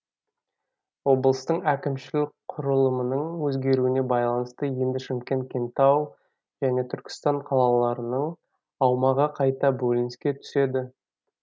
облыстың әкімшілік құрылымының өзгеруіне байланысты енді шымкент кентау және түркістан қалаларының аумағы қайта бөлініске түседі